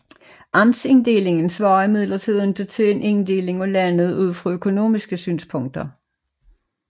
Amtsinddelingen svarer imidlertid ikke til en inddeling af landet ud fra økonomiske synspunkter